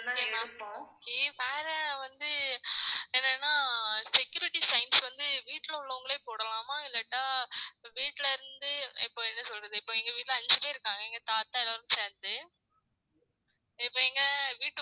அதுக்கு முன்னாடி நினைப்போம் வேற வந்து என்னன்னா security sign வந்து வீட்ல உள்ளவங்களே போடலாமா இல்லாட்டா வீட்டுல இருந்து இப்ப என்ன சொல்றது இப்ப எங்க வீட்டுல அஞ்சு பேர் இருக்காங்க எங்க தாத்தா எல்லாரும் சேர்ந்து இப்ப இங்க வீட்டுக்குள்ள